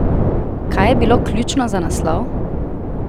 Kaj je bilo ključno za naslov?